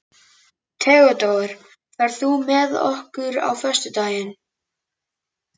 Theódór, ferð þú með okkur á föstudaginn?